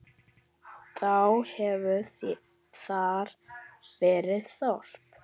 Þá hefur þar verið þorp.